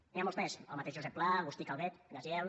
n’hi ha molts més el mateix josep pla agustí calvet gaziel